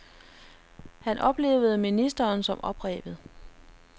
Han oplevede ministeren som oprevet.